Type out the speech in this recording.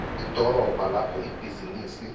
idorobha lapho ibhizinisi